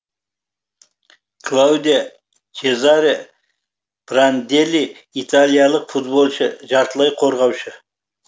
клаудио чезаре пранделли италиялық футболшы жартылай қорғаушы